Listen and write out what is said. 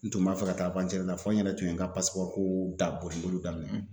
N tun b'a fɛ ka taa la fɔ n yɛrɛ tun ye n ka ko da boli boli daminɛ.